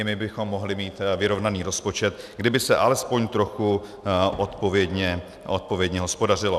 I my bychom mohli mít vyrovnaný rozpočet, kdyby se alespoň trochu odpovědně hospodařilo.